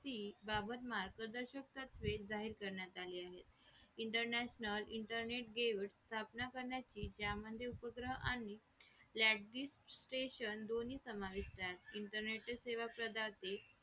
की बाबत मार्गदर्शक तत्वे जाहीर करण्यात आली आहेत international internet games स्थापना करण्याची उपकार्य आणि largest station दोन्ही समाविष्ट आहेत